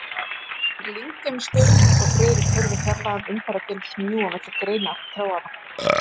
Hann lygndi um stund, og Friðrik heyrði fjarlægan umferðardyn smjúga milli greina trjánna.